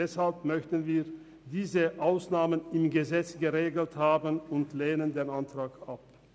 Deshalb möchten wir diese Ausnahmen im Gesetz geregelt haben und lehnen diesen Antrag ab.